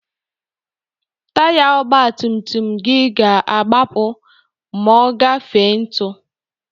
Taya ọgbatumtum gị ga-agbapu ma ọ gafere ntu.